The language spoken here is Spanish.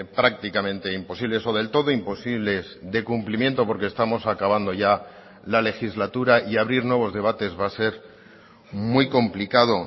prácticamente imposibles o del todo imposibles de cumplimiento porque estamos acabando ya la legislatura y abrir nuevos debates va a ser muy complicado